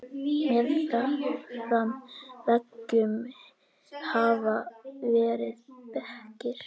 Meðfram veggjum hafa verið bekkir.